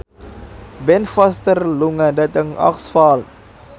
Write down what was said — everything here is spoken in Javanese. Ben Foster lunga dhateng Oxford